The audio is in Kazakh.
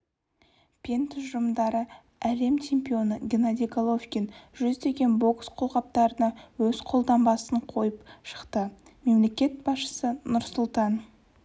пен тұжырымдары әлем чемпионы геннадий головкин жүздеген бокс қолғаптарына өз қолтаңбасын қойып шықты мемлекет басшысы нұрсұлтан